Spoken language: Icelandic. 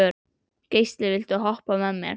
Geisli, viltu hoppa með mér?